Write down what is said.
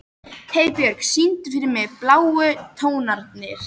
Heiðbjörk, syngdu fyrir mig „Bláu tónarnir“.